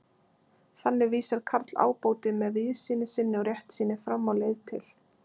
Þannig vísar Karl ábóti, með víðsýni sinni og réttsýni, fram á leið til